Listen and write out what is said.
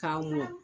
K'a mɔ